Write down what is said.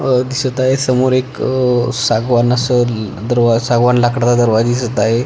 अह दिसत आहे समोर एक अह सागवान अस दरवाजा सागवान लाकडच दरवाजा दिसत आहे.